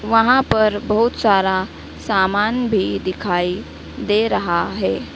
वहां पर बहुत सारा सामान भी दिखाई दे रहा है।